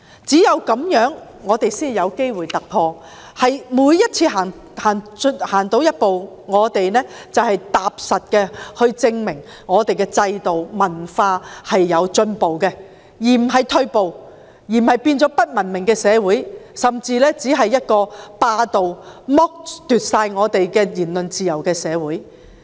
只有這樣，我們才會有機會突破，而每次走前一步，我們均可踏實地證明我們的制度和文化是有進步的，而不是退步，不會變成不文明的社會，甚至只是一個霸道地剝奪我們的言論自由的社會。